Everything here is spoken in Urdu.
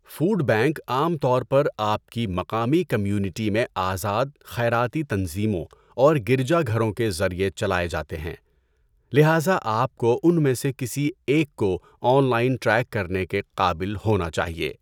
فوڈ بینک عام طور پر آپ کی مقامی کمیونٹی میں آزاد خیراتی تنظیموں اور گرجا گھروں کے ذریعہ چلائے جاتے ہیں، لہذا آپ کو ان میں سے کسی ایک کو آن لائن ٹریک کرنے کے قابل ہونا چاہئے۔